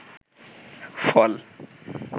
ফল